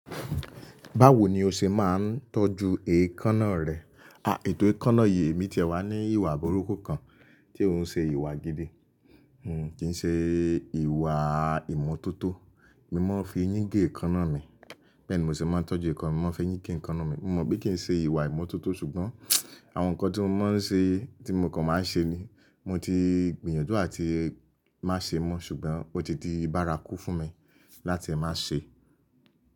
Báwo ni o ṣe máa ń tọ́jú eékánná rẹ? À, ètò eékánná èyí mi ti ẹ̀ wá ní ìwà burúkù kan tí ó ń ṣe ìwà gidi. Kì ń ṣe ìwà ìmọ́tótó. Mi ò mọ̀ fi eyín gé eékánná mi, bẹ́ẹ̀ ni mo sì máa ń tọ́jú eékánná, mo máa ń fi eyín gé eékánná mi. Mo mọ̀ bí kí n ṣe ìwà ìmọ́tótó ṣùgbọ́n àwọn nǹkan tí mo mọ̀ ṣe, tí mo kàn máa ń ṣe ni mo ti gbìyànjú àti má ṣe mọ́. Ṣùgbọ́n ó ti di bárakú fún mi láti má ṣe.